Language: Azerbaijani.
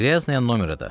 Qraznaya nomera da.